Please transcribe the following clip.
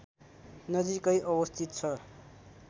नजिकै अवस्थित छ